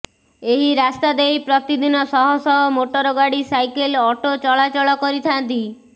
ଏହି ରାସ୍ତାଦେଇ ପ୍ରତିଦିନ ଶହଶହ ମୋଟରଗାଡି ସାଇକେଲ ଅଟୋ ଚଳାଚଳ କରିଥାନ୍ତି